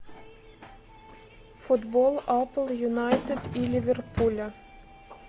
футбол апл юнайтед и ливерпуля